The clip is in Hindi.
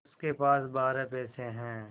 उसके पास बारह पैसे हैं